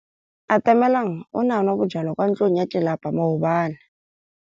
Atamelang o ne a nwa bojwala kwa ntlong ya tlelapa maobane.